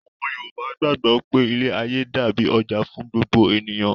Àwọn Yorùbá gbàgbọ́ pé ilé-ayé dàbí ọjà fún gbogbo ènìyàn.